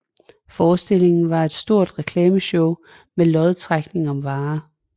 Forestillingen var et stort reklameshow med lodtrækning om varer